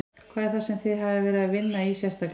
Hvað er það sem þið hafið verið að vinna í sérstaklega?